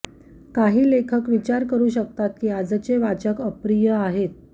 काही लेखक विचार करू शकतात की आजचे वाचक अप्रिय आहेत